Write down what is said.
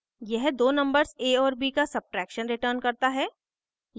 यह दो numbers a और b का subtraction returns करता है